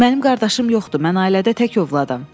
Mənim qardaşım yoxdur, mən ailədə tək ovladam.